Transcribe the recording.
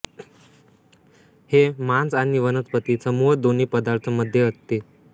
हे मांस आणि वनस्पति समूह दोन्ही पदार्थ मध्ये असते